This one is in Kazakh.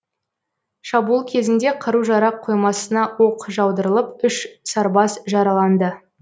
шабуыл кезінде қару жарақ қоймасына оқ жаудырылып үш сарбаз жараланды